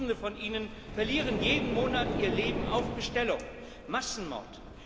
Tausende von ihnen verlieren jeden Monat ihr Leben auf Bestellung Massenmord.